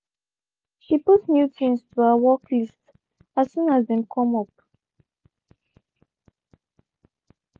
she put new things to her work list as soon as dem come up.